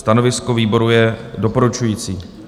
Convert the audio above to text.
Stanovisko výboru je doporučující.